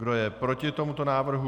Kdo je proti tomuto návrhu?